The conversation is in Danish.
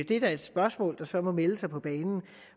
det er da et spørgsmål der så må melde sig